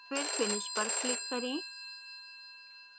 फिर finish पर click करें